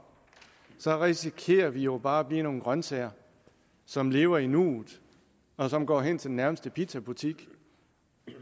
risikerer vi jo bare at blive nogle grønsager som lever i nuet og som går hen til den nærmeste pizzabutik